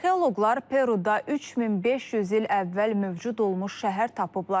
Arxeoloqlar Peruda 3500 il əvvəl mövcud olmuş şəhər tapıblar.